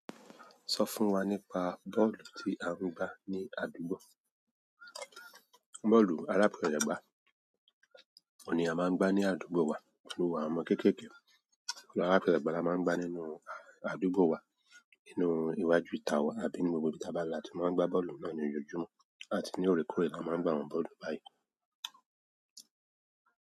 Sọ fún wa nípa ball tí a ń gbá ní àdúgbò. Bọ́ọ̀lù aláfẹ́sẹ̀gbá oun ni a máa ń gbá ní àdúgbò wa nítorí àwọn ọmọ kéékèèké, àwọn aláfẹ́sẹ̀gbá la máa ń gbá nínú àdúgbò wa, nínú iwájú ìta wa àbí ní ibi gbogbo tí bá la tí máa ń gbá bọ́ọ̀lù náà ní ojoojúmọ́ àti ní òrekore ni a máa ń gbá àwọn bọ́ọ̀lù báyìí.